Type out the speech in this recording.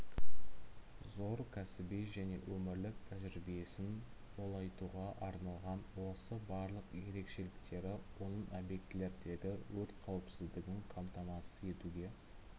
зор кәсіби және өмірлік тәжірибесін молайтуға арналған осы барлық ерекшеліктері оның объектілердегі өрт қауіпсіздігін қамтамасыз етуге